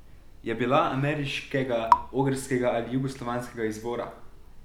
Je bila ameriškega, ogrskega ali jugoslovanskega izvora?